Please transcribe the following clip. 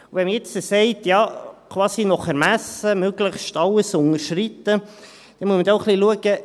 Wenn man jetzt sagt, quasi nach Ermessen, möglichst alles unterschreiten, dann muss man auch ein wenig schauen: